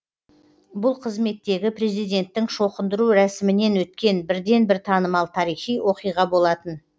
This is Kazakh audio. бұл қызметтегі президенттің шоқындыру рәсімінен өткен бірден бір танымал тарихи оқиға болатын